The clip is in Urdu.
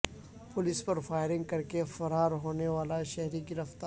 پولیس پر فائرنگ کرکے فرار ہونے والا شہری گرفتار